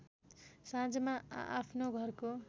साँझमा आआफ्नो घरको